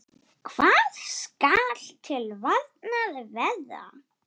Hvað skal til varnar verða?